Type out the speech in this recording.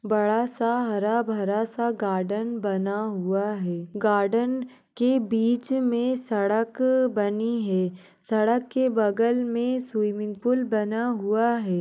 बड़ा सा हरा भरा सा गार्डन बना हुआ है गार्डन के बीच मे सड़क बनी है सड़क के बगल मे स्विमिंग पूल बना हुआ--